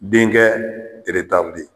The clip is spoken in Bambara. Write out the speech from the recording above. Denkɛ